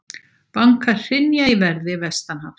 Bankar hrynja í verði vestanhafs